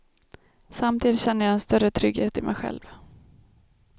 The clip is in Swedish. Samtidigt känner jag en större trygghet i mig själv.